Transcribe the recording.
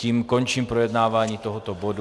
Tím končím projednávání tohoto bodu.